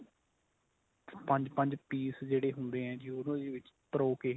ਪੰਜ ਪੰਜ piece ਜਿਹੜੇ ਹੁੰਦੇ ਏ ਉਹਨੂੰ ਉਹਦੇ ਵਿੱਚ ਪ੍ਰੋ ਕੇ